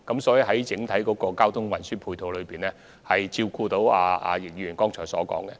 所以，整體交通運輸的安排已能照顧易議員剛才提及的情況。